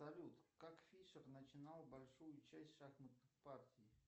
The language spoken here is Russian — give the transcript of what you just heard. салют как фишер начинал большую часть шахматных партий